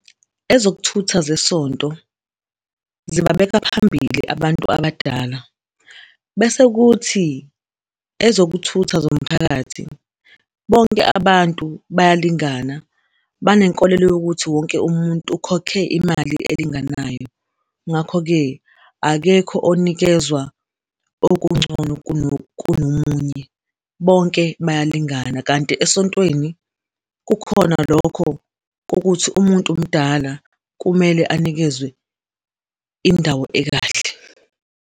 Ezokuthutha zesonto zibabeka phambili abantu abadala, bese kuthi ezokuthutha zomphakathi, bonke abantu bayalingana. Banenkolelo yokuthi wonke umuntu ukhokhe imali elinganayo. Ngakho-ke, akekho onikezwa okungcono kunomunye. Bonke bayalingana. Kanti esontweni, kukhona lokho kokuthi umuntu mdala, kumele anikezwe indawo ekahle.